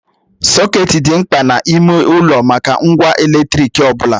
Soket dị mkpa n'ime ụlọ maka ngwa eletrik ọ bụla.